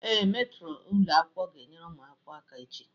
Ee, metro ụlọ akwụkwọ ga-enyere ụmụ akwụkwọ aka echi.